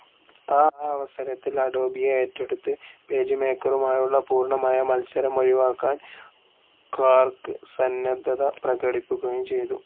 ആ അവസരത്തിൽ അഡോബിയെ ഏറ്റെടുത്ത് പേജ്മേക്കറുമായുള്ള പൂർണ്ണമായ മൽസരം ഒഴിവാക്കാൻ ക്വാർക്ക്‌ സന്നദ്ധത പ്രകടിപ്പിക്കുകയും ചെയ്തു.